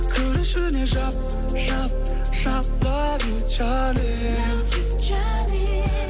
кір ішіне жап жап жап лав ю джаним лав ю джаним